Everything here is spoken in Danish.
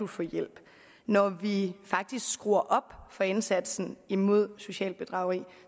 få hjælp når vi faktisk skruer op for indsatsen imod socialt bedrageri